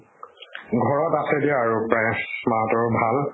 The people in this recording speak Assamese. ঘৰত আছে দিয়া আৰু প্ৰায়, মা হতৰ ভাল